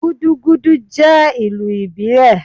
Gudugudu je ilù ibílé